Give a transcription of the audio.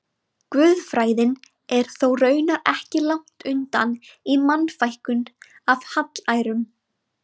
Guðfræðin er þó raunar ekki langt undan í Mannfækkun af hallærum.